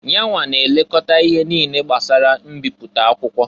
Yanwa na elekọta ihe niile gbasara mbipụta akwụkwọ.